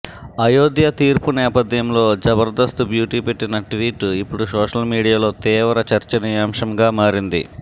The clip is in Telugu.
అయోధ్య తీర్పు నేపథ్యంలో జబర్దస్త్ బ్యూటీ పెట్టిన ట్వీట్ ఇప్పుడు సోషల్ మీడియాలో తీవ్ర చర్చనీయంశంగా మారింది